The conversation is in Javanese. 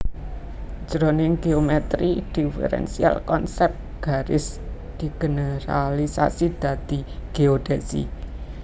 Jroning géomètri diferensial konsèp garis digeneralisasi dadi géodhèsi